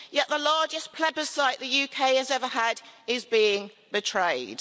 Yet the largest plebiscite the UK has ever had is being betrayed.